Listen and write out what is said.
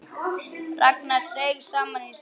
Ragnar seig saman í sætinu.